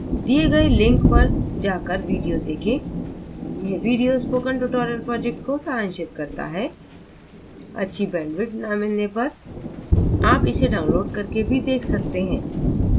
दिए गए link पर जाकर video देखें